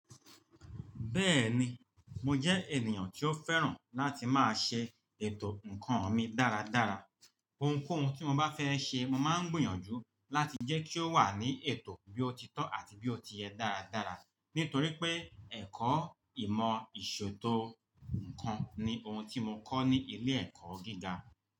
Bẹ́ẹ̀ni, mo jẹ́ ènìyàn tí ó fẹ́ràn láti máa ṣe ètò ǹkan mi dáradára. Ohunkóhun tí mo bá fẹ́ ṣe, mo máa ń gbìyànjú láti jẹ́ kí ó wà ní ètò bí ó ti tọ́ àti bí ó ti yẹ dáradára. Nítorí pé ẹ̀kọ́ ìmọ̀ ìṣòtò ǹkan ni ohun tí mo kọ́ ní ilé-ẹ̀kọ́ gíga.